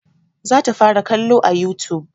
Za ta fara kallo a youtube